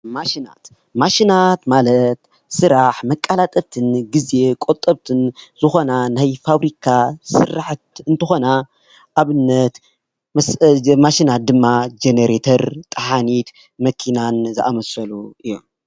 ማሽናት ማሽናት ማለት ስራሕ መቀላጠፍትን ግዜ ቆጠብትን ዝኮነ ናይ ፋብሪካ ስራሕቲ እንትኮና ኣብነት እዘን ማሽናት ድማ ጀኔረተር፣ መኪና፣ ተሓኒት ዝኣምሳሰሉ እዮም፡፡